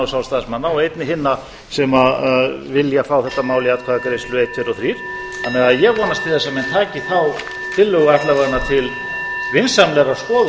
sjálfstæðismanna og einnig hinna sem vilja fá þetta mál í atkvæðagreiðslu einn tveir og þrír þannig að ég vonast til þess að menn taki þá tillögu alla vega til vinsamlegrar skoðunar og efnislegrar meðferðar